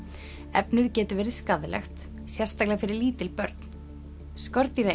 efnið getur verið skaðlegt sérstaklega fyrir lítil börn